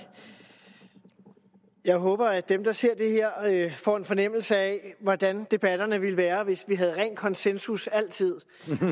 jeg håber at dem der ser det her får en fornemmelse af hvordan debatterne ville være hvis vi havde ren konsensus altid